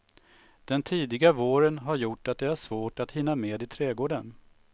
Den tidiga våren har gjort att det är svårt att hinna med i trädgården.